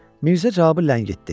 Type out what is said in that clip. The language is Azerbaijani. Mirzə cavabı ləngitdi.